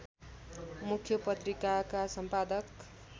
मुख्य पत्रिकाका सम्पादक